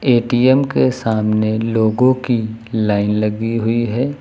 ATM के सामने लोगों की लाइन लगी हुई है।